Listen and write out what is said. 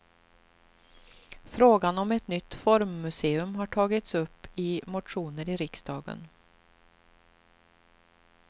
Frågan om ett nytt formmuseum har tagits upp i motioner i riksdagen.